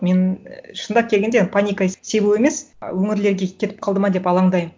мен і шындап келгенде паника себу емес ы өңірлерге кетіп қалды ма деп алаңдаймын